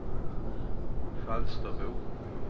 Falsterbo